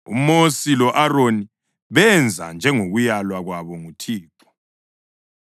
UMosi lo-Aroni benza njengokulaywa kwabo nguThixo.